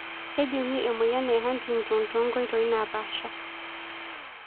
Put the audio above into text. Kejungi emoyian e Huntington tonkoitoi napasha.